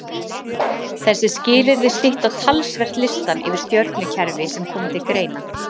þessi skilyrði stytta talsvert listann yfir stjörnukerfi sem koma til greina